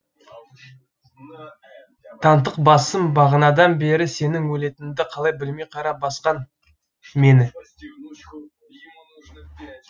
тантық басым бағанадан бері сенің өлетініңді қалай білмей қара басқан мені